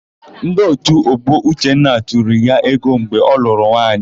Ndị òtù ọgbọ Uchenna tụrụ ya ego mgbe ọ lụrụ nwaanyị.